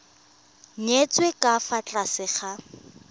nyetswe ka fa tlase ga